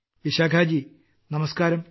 വിശാഖാജി നമസ്ക്കാരം